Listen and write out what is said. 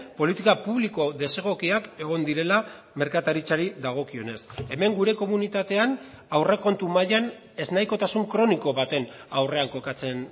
politika publiko desegokiak egon direla merkataritzari dagokionez hemen gure komunitatean aurrekontu mailan ez nahikotasun kroniko baten aurrean kokatzen